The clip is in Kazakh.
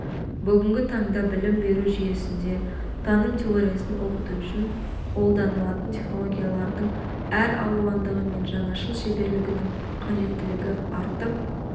бүгінгі таңда білім беру жүйесінде таным теориясын оқыту үшін қолданылатын технологиялардың әр алуандығы мен жаңашыл шеберлігінің қажеттілігі артып